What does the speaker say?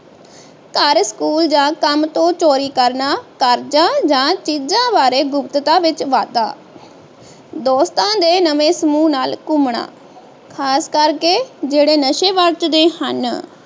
ਘਰ ਸਕੂਲ ਜਾਂ ਕੰਮ ਤੋਂ ਚੋਰੀ ਕਰਨਾ ਕਰਜਾ ਜਾਂ ਚੀਜਾਂ ਬਾਰੇ ਗੁਪ੍ਤਤਾ ਵਿਚ ਵਾਧਾ ਦੋਸਤਾਂ ਦੇ ਨਵੇਂ ਸਮੂਹ ਨਾਲ ਘੁੰਮਣਾ ਖ਼ਾਸ ਕਰਕੇ ਜਿਹੜੇ ਨਸ਼ੇ ਵਰਤੇਦੇ ਹਨ